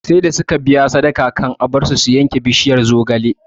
Sarda suka biya sadaka can a bar su su yanke bishiyar zogale